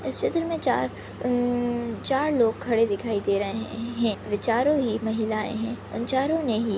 इस चित्र मे चार हम्म चार लोग खड़े दिखाई दे रहे है वे चारों ही महिलाए है उन चारों ने ही--